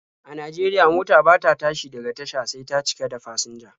A Najeriya, mota bata tashi daga tasha sai ta cika da fasinja.